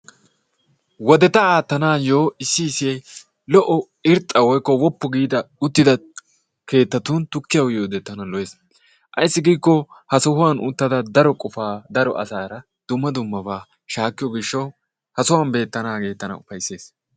Woodetta attanaayo issi irxxa woykko wooppu giida keetattun tukkiyaa uyiyoode tana lo"ees. Ayssi giiko ha sohuwaan uttida daro qofaa daro asaara dumma dummabaa shaakkiyoo giishshawu ha sohuwaan beettanaagee tana ufayssees.